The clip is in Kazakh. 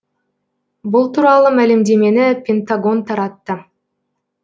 бұл туралы мәлімдемені пентагон таратты